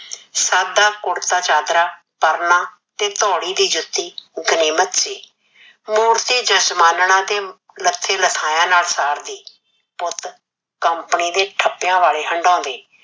ਸਾਦਾ ਕੁਰਤਾ ਚਾਦਰਾ ਪਰਨਾ ਤੇ ਧੋੜੀ ਦੀ ਜੁੱਤੀ ਗਨੀਮਤ ਸੀ, ਮੂਰਤੀ ਜਾਜਮਾਨਣਾ ਤੇ ਲੱਥੇ ਲੱਥਾਇਆ ਨਾਲ ਸਰਦੀ, ਪੁੱਤ company ਦੇ ਠਪਿਆ ਵਾਲੇ ਹੰਡੋਨਦੇ,